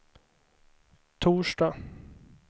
torsdag